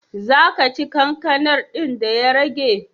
Za ka ci kankanar din da ya rage?